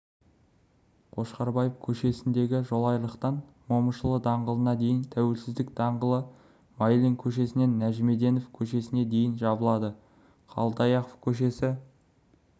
қошқарбаев көшесіндегі жолайрықтан момышұлы даңғылына дейін тәуелсіздік даңғылы майлин көшесінен нәжімеденов көшесіне дейін жабылады қалдаяқов көшесі